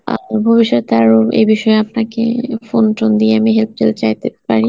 ভবিষ্যতে আরো এ বিষয়ে আপনাকে, phone টোন দিয়ে আমি help টেলপ চাইতে পারি